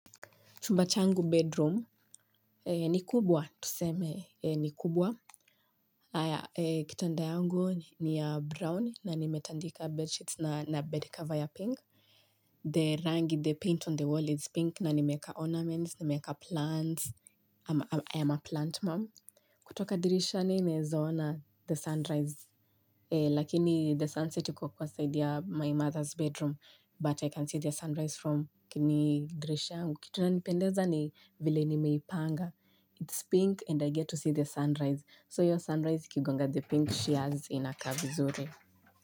Shumbachangu bedroom ni kubwa, tuseme ni kubwa. Kitanda yangu ni brown na nimetandika bedsheets na bed cover ya pink. The rank, the paint on the wall is pink na nimeka ornaments, nimeka plants. I am a plant mom. Kutoka dirisha naen ona the sunrise. Lakini the sunset kukwa saidia my mother's bedroom but I can see the sunrise from. Kitu na nipendeza ni vile nimeipanga It's pink and I get to see the sunrise So yo sunrise kigonga the pink shears in a kabizuri.